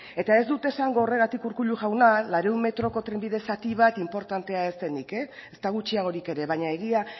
eta ez dut esango horregatik urkullu jauna laurehun metroko trenbide zati bat inportantea ez denik ezta gutxiagorik ere baina egia